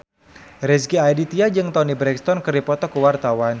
Rezky Aditya jeung Toni Brexton keur dipoto ku wartawan